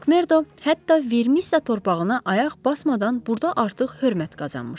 Mak Merdo hətta Vermisiya torpağına ayaq basmadan burda artıq hörmət qazanmışdı.